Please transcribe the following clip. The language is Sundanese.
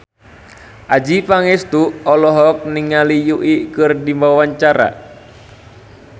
Adjie Pangestu olohok ningali Yui keur diwawancara